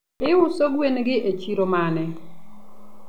iuso gwengi e chiro mane ?